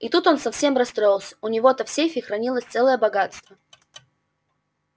и тут он совсем расстроился у него-то в сейфе хранилось целое богатство